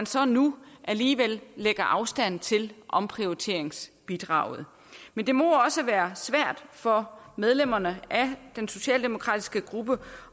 så nu alligevel afstand til omprioriteringsbidraget men det må også være svært for medlemmerne af den socialdemokratiske gruppe